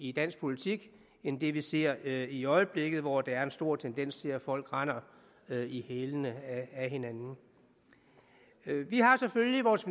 i dansk politik end det vi ser i øjeblikket hvor der er en stor tendens til at folk render i hælene af hinanden vi har selvfølgelig vores